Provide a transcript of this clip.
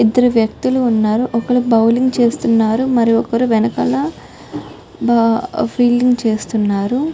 ఇద్దరు వ్యక్తులు ఉన్నారు ఒకరు బౌలింగ్ చేస్తున్నారు మరియు వెనకాల ఫీల్డింగు చేస్తున్నారు